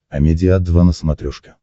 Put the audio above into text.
амедиа два на смотрешке